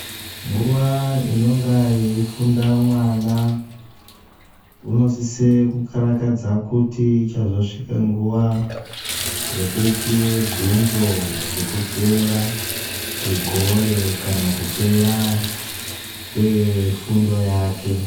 Nguwai inonga yeifunda mwana unosise kukarakadza kutiichazosvike nguwa yekuoiwe bvunzo yekupera kwegore kana kupera kwefundo yake.